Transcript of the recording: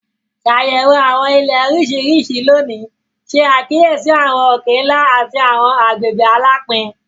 Ṣàyẹ̀wò àwọn Ilẹ̀ oríṣiríṣi lónìí, ṣe àkíyèsí àwọn òkè-ńlá àti àwọn agbègbè alapin.